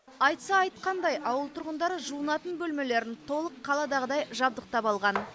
айтса айтқандай ауыл тұрғындары жуынатын бөлмелерін толық қаладағыдай жабдықтап алған